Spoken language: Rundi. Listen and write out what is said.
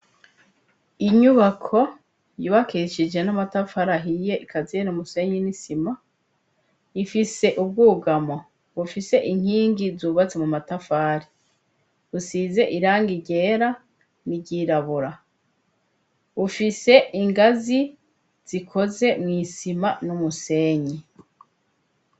Inyubako yubakishije n'amatafari ahiye ikaziye n' umusenyi n'isima. Ifise ubwugamo bufise inkingi zubatse mu matafari, busize irangi ryera n' iryirabura. Bufise ingazi zikoze mw' isima n'umusenyi.